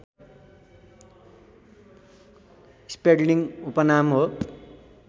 स्पेल्डिङको उपनाम हो